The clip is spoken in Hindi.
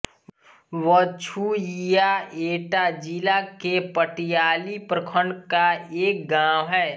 बछुइया एटा जिले के पटियाली प्रखण्ड का एक गाँव है